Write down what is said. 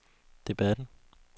debatten